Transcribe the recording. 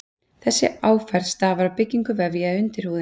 Þessi áferð stafar af byggingu vefja í undirhúðinni.